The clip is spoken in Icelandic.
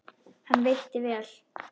Hann veitti vel